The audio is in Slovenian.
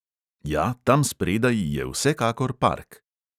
Ja, tam spredaj je vsekakor park.